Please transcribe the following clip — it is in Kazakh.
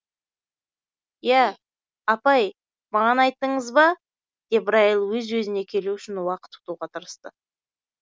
иә апай маған айттыңыз ба деп райл өз өзіне келу үшін уақыт ұтуға тырысты